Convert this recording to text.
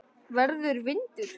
Verður vindur.